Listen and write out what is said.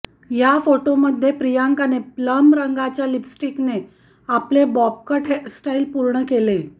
या फोटोमध्ये प्रियंकाने प्लम रंगाच्या लिपस्टिकने आपले बॉब कट हेअरस्टाईल पूर्ण केले